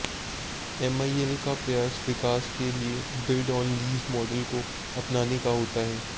MIL का प्रयास विकास के लिए बिल्ड ओन लीज मॉडल को अपनाने का होता है